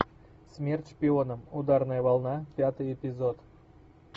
смерть шпионам ударная волна пятый эпизод